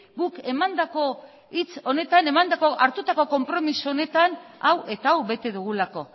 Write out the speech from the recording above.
guk emandako hitz honetan emandako hartutako konpromiso honetan hau eta hau bete dugulako